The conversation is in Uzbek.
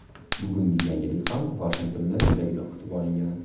Bugungi yangilik ham Vashingtonda juda iliq kutib olingan.